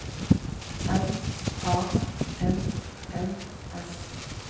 M A N N S